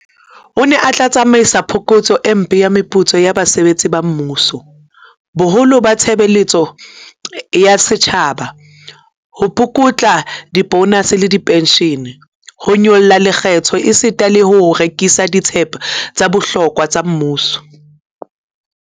O ne o tla tsamaisana le phokotso e mpe ya meputso ya basebetsi ba mmuso, boholo ba tshebe letso ya setjhaba, ho pukutla dibonase le dipenshene, ho nyolla lekgetho esita le ho rekisa dithepa tsa bohlokwa tsa mmuso.